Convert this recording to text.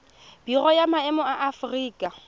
biro ya maemo ya aforika